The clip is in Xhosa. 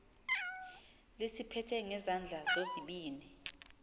lisiphethe ngezandla zozibini